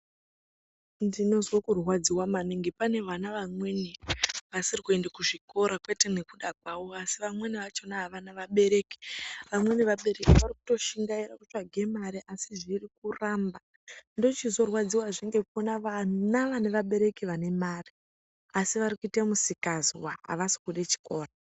Ndinonzwa kurwadziwa maningi pane vamwe vana vasiri kuenda kuzvikora ,kwete nekuda kwavo asi nekuti vamweni vakona avana vabereki ,vamweni vabereki varikuto shingaira kutsvaga marii asi zvirikuramba ndochizorwadziwa hee nevana vane vabereki vane mare asi varikuite misikanzwa avasikude chikora.